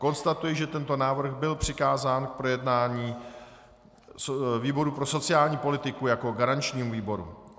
Konstatuji, že tento návrh byl přikázán k projednání výboru pro sociální politiku jako garančnímu výboru.